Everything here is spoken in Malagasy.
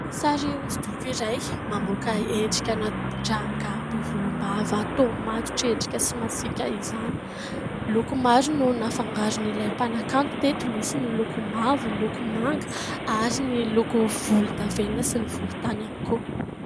Sary hosodoko iray mamoaka endrikana rangahy be volombava toa matotra endrika sy masiaka izany. Loko maro no nafangaron'ilay mpanakanto teto. Misy ny loko mavo, ny loko manga ary ny loko volondavenona sy ny volontany ihany koa.